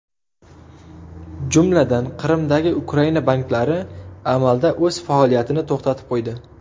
Jumladan, Qrimdagi Ukraina banklari amalda o‘z faoliyatini to‘xtatib qo‘ydi.